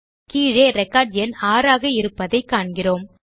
கீழே ரெக்கார்ட் எண் 6 ஆக இருப்பதை காண்கிறோம்